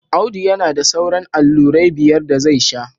Audu yana da sauran allurai biyar da zai sha